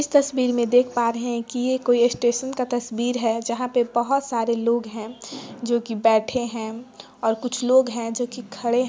इस तस्वीर मे देख पा रहै है की ये कोई स्टेशन का तस्वीर है जहाँ पे बहुत सारे लोग हैं जोकी बेठे है और कुछ लोग हैं जोकि खड़े --